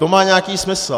To má nějaký smysl.